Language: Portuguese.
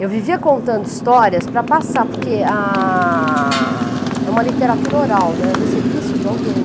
Eu vivia contando histórias para passar, porque, ah, é uma literatura oral, eu recebi isso de alguém.